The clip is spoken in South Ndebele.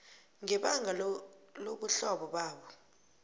ngebanga lobuhlobo babo